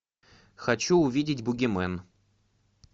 хочу увидеть бугимен